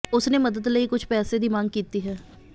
ਉਸਨੇ ਮਦਦ ਲਈ ਕੁਝ ਪੈਸੇ ਦੀ ਮੰਗ ਕੀਤੀ ਹੈ